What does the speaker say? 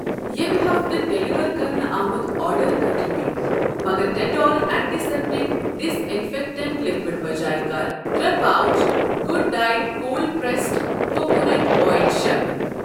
ییٚمہِ ہفتہٕ ڈیلیورکرنہٕ آمُت آرڈر کر رِپیٖٹ مگر Dettol antiseptic disinfectant liquid بجاۓ کر ترٚے pouch good diet cold pressed coconut oil شٲمِل۔